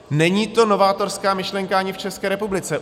Není to novátorská myšlenka ani v České republice.